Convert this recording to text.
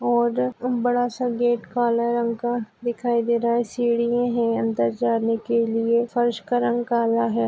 और बड़ा सा गेट काले रंग का दिखाई दे रहा है सीडीए है अंदर जाने के लिए फर्श का रंग काला है।